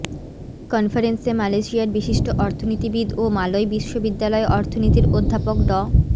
কনফারেন্সে মালয়েশিয়ার বিশিষ্ট অর্থনীতিবিদ ও মালয় বিশ্ববিদ্যালয় অর্থনিতীর অধ্যাপক ড